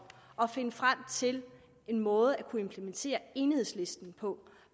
og finde frem til en måde at implementere enighedslisten på